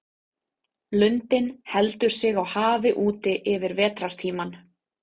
Lundinn heldur sig á hafi úti yfir vetrartímann.